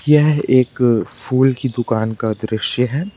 यह एक फूल की दुकान का दृश्य है।